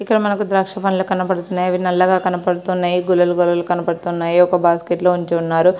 ఇక్కడ మనకు ద్రాక్షపండ్లు కనబడుతున్నాయి. అవి నల్లగా కనబడుతున్నాయి. గుల్లాలు గుల్లలుగా కనబడుతున్నాయి. ఒక బాస్కెట్ లో ఉంచి ఉన్నారు.